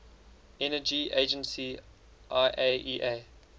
energy agency iaea